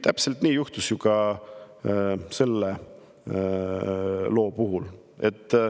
Täpselt nii juhtus ju ka selle loo puhul.